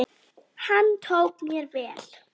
Hann tók mér vel.